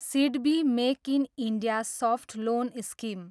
SIDBI make in India soft loan scheme